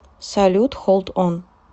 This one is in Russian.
салют холд он